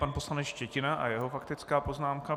Pan poslanec Štětina a jeho faktická poznámka.